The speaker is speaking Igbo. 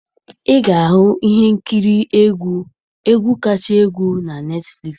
Ị ga-ahụ ihe nkiri egwu egwu kachasị egwu na Netflix.